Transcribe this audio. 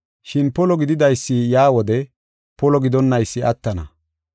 Shin polo gididaysi yaa wode polo gidonnaysi attana.